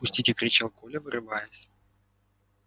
пустите кричал коля вырываясь